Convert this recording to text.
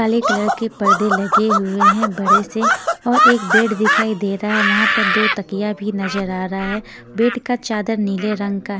काले कलर के पर्दे लगे हुए हैं बड़े से और एक बेड दिखाई दे रहा है वहाँ पर दो तकिया भी नजर आ रहा है बेड का चादर नीले रंग का --